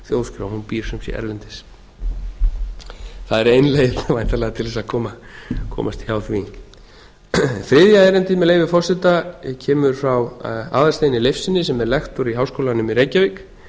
þjóðskrá hún býr sem sé erlendis það er ein leið þá væntanlega til þess að komast hjá því þriðja erindið með leyfi forseta kemur frá aðalsteini leifssyni sem er lektor í háskólanum í reykjavík